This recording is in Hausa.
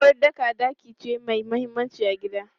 Uwaɗɗaka ɗaki ce mai mahimmanci a gida.